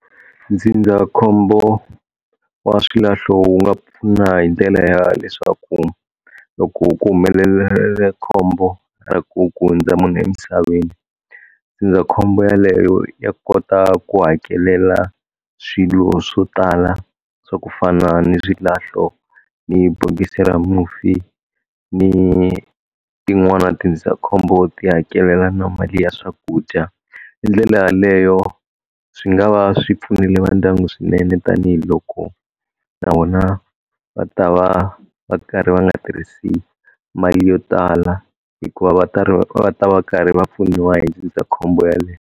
Ndzindzakhombo wa swilahlo wu nga pfuna hi ndlela ya leswaku loko ku humelele le khombo ra ku ku hundza munhu emisaveni, ndzindzakhombo yaleyo ya kota ku hakelela swilo swo tala swa ku fana ni swilahlo, ni bokisi ra mufi, ni tin'wana tindzindzakhombo ti hakelela na mali ya swakudya, hi ndlela yaleyo swi nga va swi pfunile va ndyangu swinene tanihiloko na vona va ta va va karhi va nga tirhisi mali yo tala hikuva va ta va karhi va pfuniwa hi ndzindzakhombo yaleyo.